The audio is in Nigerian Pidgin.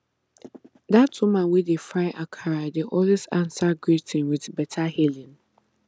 dat woman wey dey fry akara dey always answer greeting with beta hailing